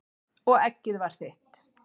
Og eggið var þitt!